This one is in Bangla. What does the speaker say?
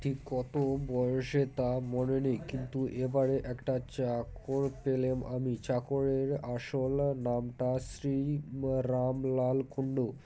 ঠিক কত বয়সে তা মনে নেই কিন্তু এবারে একটা চাকর পেলে আমি চাকরের আসল নামটা শ্রী রামলাল কুন্ডু